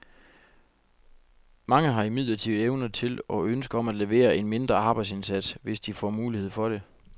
Mange har imidlertid evner til, og ønske om at levere en mindre arbejdsindsats, hvis de får mulighed for det.